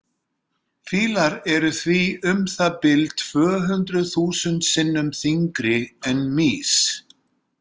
Fílar eru því um það bil tvö hundruð þúsund sinnum þyngri en mýs.